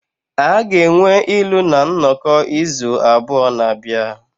A ga-enwe ilu na nnọkọ izu abụọ na-abịa.